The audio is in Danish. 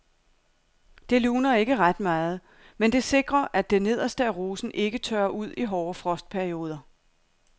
Det luner ikke ret meget, men det sikrer at det nederste af rosen ikke tørrer ud i hårde frostperioder.